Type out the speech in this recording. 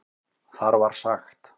Þar var sagt